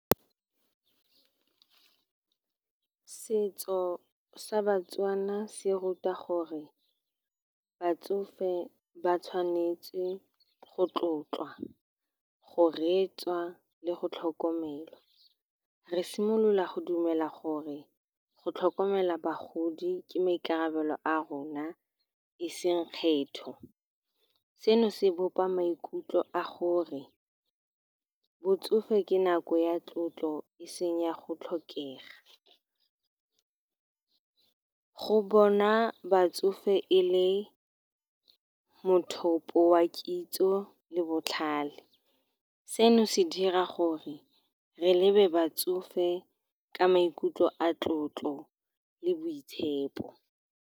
Setso sa Batswana se ruta gore batsofe ba tshwanetse go tlotlwa, go reetswa le go tlhokomelwa. Re simolola go dumela gore go tlhokomela bagodi ke maikarabelo a rona, e seng kgetho. Seno se bopa maikutlo a gore botsofe ke nako ya tlotlo, e seng ya go tlhokega. Go bona batsofe e le mothopo wa kitso le botlhale, seno se dira gore re lebe batsofe ka maikutlo a tlotlo le boitshepo.